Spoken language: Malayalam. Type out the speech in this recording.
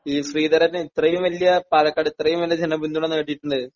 ഈ ശ്രീധരൻ ഇത്രയും വലിയ പാലക്കാട് ഇത്രയും വലിയ ജനപിന്തുണ നേടിയിട്ടുണ്ട്.